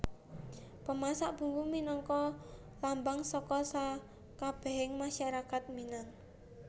Pemasak Bumbu minangka lambang saka sakabèhé masyarakat Minang